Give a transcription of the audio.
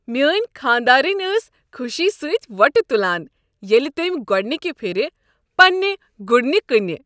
میٲنۍ خانٛداریٚنۍ ٲس خوشی سۭتۍ وۄٹہٕ تُلان ییٚلہ تٔمہِ گوڈنِكہِ پھرِ پنٛنہِ گٗڈنہِ كٕنہِ۔